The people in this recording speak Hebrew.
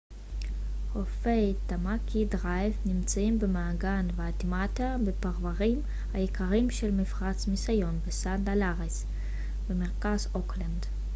חופי טאמאקי דרייב נמצאים במעגן וואיטמאטה בפרוורים היקרים של מפרץ מיסיון וסנט הליארס במרכז אוקלנד